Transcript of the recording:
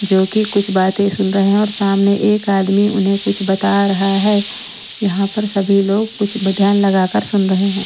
जो कि कुछ बातें सुन रहे हैं और सामने एक आदमी उन्हें कुछ बता रहा है यहाँ पर सभी लोग कुछ ध्यान लगाकर सुन रहे हैं।